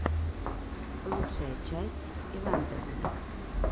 лучшая часть ивантез